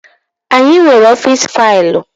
Anyị nwere ọfịs faịlụ.